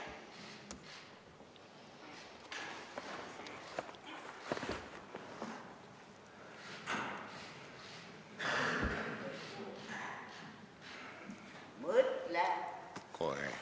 Mõtle!